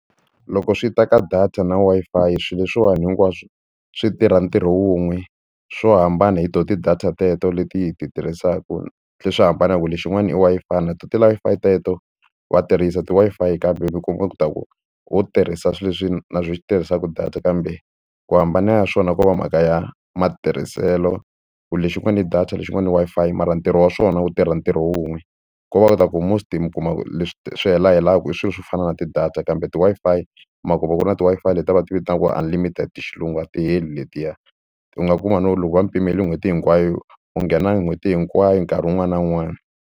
Loko swi ta ka data na Wi-Fi swilo leswiwani hinkwaswo swi tirha ntirho wun'we swo hambana hi tona ti-data teto leti hi ti tirhisaka swi tlhe hambana hi ku lexin'wana i Wi-Fi na tona ti-Wi-Fi teto va tirhisa ti-Wi-Fi kambe ho tirhisa swilo leswi na swo swi tirhisaka data kambe ku hambana ya swona ko va mhaka ya matirhiselo ku lexin'wana i data lexin'wana i Wi-Fi mara ntirho wa swona wu tirha ntirho wun'we ko va kota ku most mi kuma leswi swi hela helaku i swilo swo fana na ti-data kambe ti-Wi-Fi ma kuma ku ri na ti-Wi-Fi leti va ti vitanaka unlimited hi xilungu a ti heli letiya u nga kuma no loko va ni pimele n'hweti hinkwayo u nghena n'hweti hinkwayo nkarhi wun'wani na wun'wani.